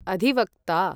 अधिवक्ता